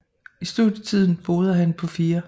I studietiden boede han på 4